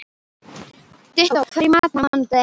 Dittó, hvað er í matinn á mánudaginn?